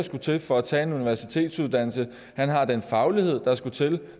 skal til for at tage en universitetsuddannelse han har den faglighed der skal til